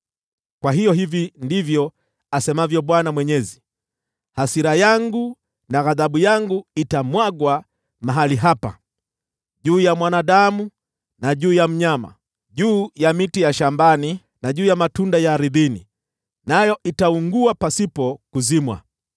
“ ‘Kwa hiyo hivi ndivyo asemavyo Bwana Mwenyezi: Hasira yangu na ghadhabu yangu itamwagwa mahali hapa, juu ya mwanadamu na mnyama, juu ya miti ya shambani na juu ya matunda ya ardhini, nayo itaungua pasipo kuzimwa.